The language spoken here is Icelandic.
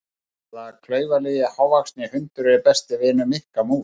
Hvaða klaufalegi hávaxni hundur er besti vinur Mikka mús?